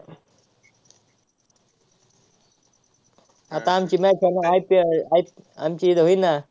आता आमची match आहे ना IPL आईप~ आमची होईल ना.